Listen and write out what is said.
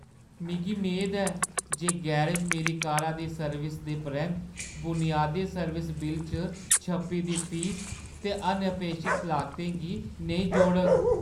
मिगी मेद ऐ जे गैरेज मेरी कारा दी सर्विस दे परैंत्त बुनियादी सर्विस बिल्ल च छप्पी दी फीस ते अनअपेक्षत लागतें गी नेईं जोड़ग।